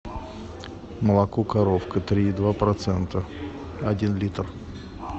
молоко коровка три и два процента один литр